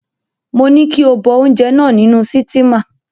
Mo ní kí o bọ oúnjẹ náà nínú sítímà.